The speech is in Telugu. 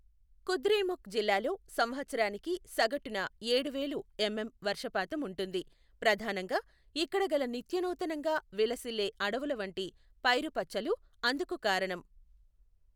కుద్రేముఖ్ జిల్లాలో సంవత్సరానికి సగటున ఏడూ వేలు ఎమ్ఎమ్ వర్షపాతం ఉంటుంది, ప్రధానంగా ఇక్కడ గల నిత్యనూతనంగా విలసిల్లే అడవులవంటి పైరుపచ్చలు అందుకు కారణం.